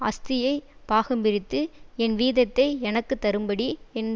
ஆஸ்தியைப் பாகம்பிரித்து என் வீதத்தை எனக்கு தரும்படி என்